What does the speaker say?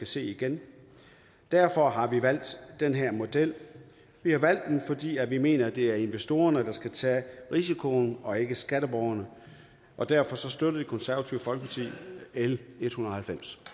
se igen derfor har vi valgt den her model vi har valgt den fordi vi mener det er investorerne der skal tage risikoen og ikke skatteborgerne derfor støtter det konservative folkeparti l ethundrede